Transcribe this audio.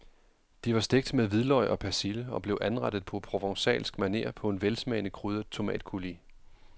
De var stegt med hvidløg og persille og blev anrettet på provencalsk maner på en velsmagende krydret tomatcoulis.